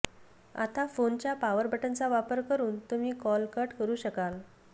आता फोनच्या पावर बटणाचा वापर करून तुम्ही कॉल कट करू शकाल